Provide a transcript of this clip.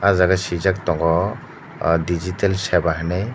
o jaga sijak tongo o digital seva hinui.